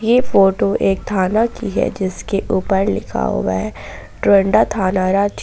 यह फोटो एक थाना की है जिसके ऊपर लिखा हुआ है डोरंडा थाना रांची।